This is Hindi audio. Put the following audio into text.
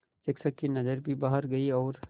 शिक्षक की नज़र भी बाहर गई और